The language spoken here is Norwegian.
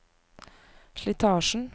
slitasjen